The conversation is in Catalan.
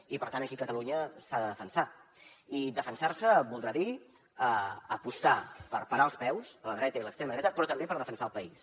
i per tant aquí catalunya s’ha de defensar i defensar se voldrà dir apostar per parar els peus a la dreta i a l’extrema dreta però també per defensar el país